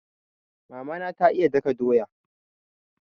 Mama na ta iya daka doya.